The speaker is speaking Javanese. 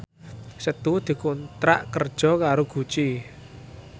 Setu dikontrak kerja karo Gucci